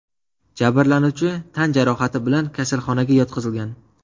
Jabrlanuvchi tan jarohati bilan kasalxonaga yotqizilgan.